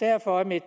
derfor er mit